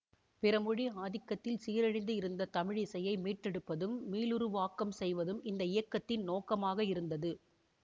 பிறமொழி ஆதிக்கத்தில் சீரழிந்து இருந்த தமிழிசையை மீட்டெடுப்பதும் மீளுருவாக்கம் செய்வதும் இந்த இயக்கத்தின் நோக்கமாக இருந்தது